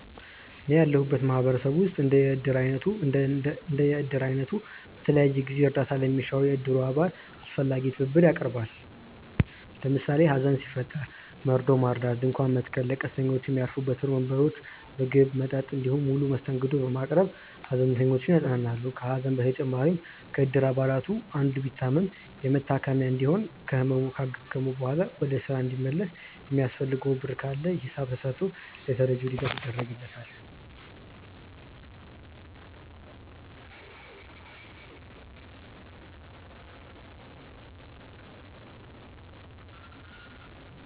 እኔ ያለሁበት ማህበረሰብ ውስጥ እንደ የእድር አይነቱ በተለያዩ ጊዜያት እርዳታ ለሚሻው የእድሩ አባል አስፈላጊውን ትብብር ያቀርባል። ለምሳሌ ሀዘን ሲፈጠር መርዶውን ማርዳት፣ ድንኳን መትከል፣ ለቀስተኞች ሚያርፉበት ወንበሮች፣ ምግብ፣ መጠጥ እንዲሁም ሙሉ መስተንግዶ በማቅረብ ሃዘንተኞችን ያጽናናሉ። ከሀዘን በተጨማሪም ከእድር አባላቱ አንዱ ቢታመም የመታከሚያ እንዲሁም ከህመሙ ካገገመ በኋላ ወደ ስራ እንዲመለስ የሚያስፈልገው ብር ካለ ሂሳብ ተስርቶ ለተረጂው ድጋፍ ይደረግለታል።